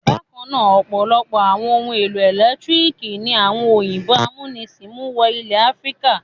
Bákan náà, ọ̀pọ̀lọpọ̀ àwọn ohun-èlò ẹ̀lẹ́tíríkì ni àwọn òyìnbó amúnisìn mú wọ ilẹ̀ Áfíríkà.